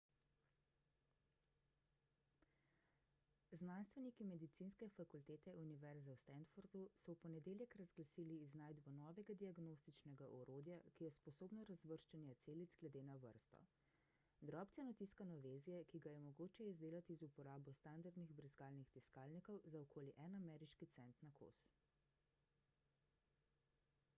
znanstveniki medicinske fakultete univerze v stanfordu so v ponedeljek razglasili iznajdbo novega diagnostičnega orodja ki je sposobno razvrščanja celic glede na vrsto drobceno tiskano vezje ki ga je mogoče izdelati z uporabo standardnih brizgalnih tiskalnikov za okoli en ameriški cent na kos